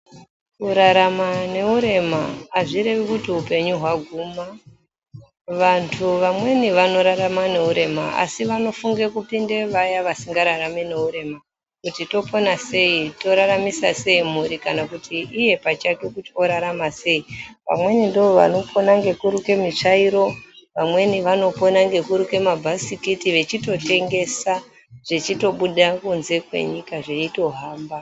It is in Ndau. Kurarama neurema azvirwvi kuti upenyu waguma, vantu vamweni vanorarama neurema asi vanofunge kuoinde vaya vasingararami ngeurema kuti topona sei toraramisa sei mburi kana kuti iye pachake kuti orarama sei vamweni ndovanopona ngekuruke mitsvairo, vamweni vanopone ngekuruke mabhasikiti vechitotengesa zvechitobuda kunze kwenyika zveitohamba.